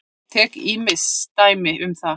Ég tek ýmis dæmi um það.